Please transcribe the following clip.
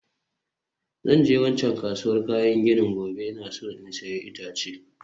Zan je waccan kasuwar kayan gini gobe, ina so in sayi itace